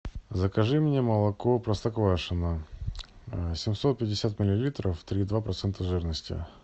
закажи мне молоко простоквашино семьсот пятьдесят миллилитров три и два процента жирности